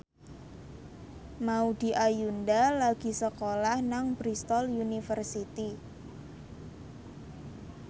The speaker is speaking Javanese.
Maudy Ayunda lagi sekolah nang Bristol university